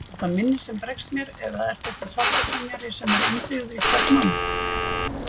Er það minnið sem bregst mér eða þessi sáttasemjari sem er innbyggður í hvern mann?